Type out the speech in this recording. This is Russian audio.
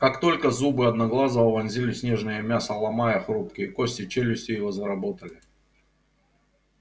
как только зубы одноглазого вонзились в нежное мясо ломая хрупкие кости челюсти его заработали